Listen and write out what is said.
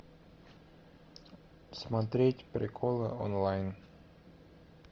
смотреть приколы онлайн